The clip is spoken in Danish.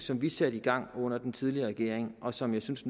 som vi satte i gang under den tidligere regering og som jeg synes